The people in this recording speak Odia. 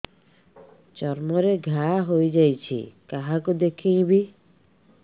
ଚର୍ମ ରେ ଘା ହୋଇଯାଇଛି କାହାକୁ ଦେଖେଇବି